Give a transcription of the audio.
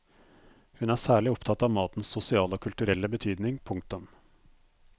Hun er særlig opptatt av matens sosiale og kulturelle betydning. punktum